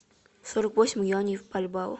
сорок восемь юаней в бальбоа